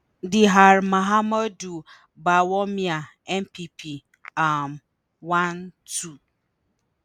dr mahamudu bawumia (npp) - um 1 2.